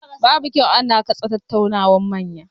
Babu kyau ana katse tattaunawar manya.